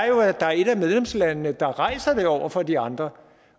jo er at der er et af medlemslandene der rejser det over for de andre